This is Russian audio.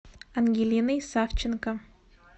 ангелиной савченко